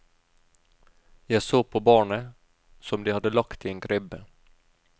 Jeg så på barnet, som de hadde lagt i en krybbe.